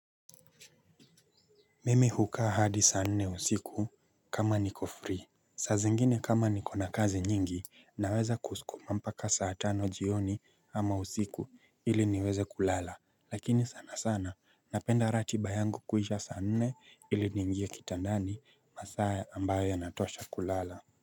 Mimi hukaa hadi saa nne usiku kama niko free. Saa zingine kama nikona kazi nyingi naweza kuskuma mpaka saa tano jioni ama usiku ili niweze kulala lakini sana sana napenda ratiba yangu kuisha saa nne ili niingie kitandani masaa ambayo yanatosha kulala.